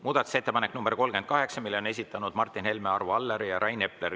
Muudatusettepaneku nr 38 on esitanud Martin Helme, Arvo Aller ja Rain Epler.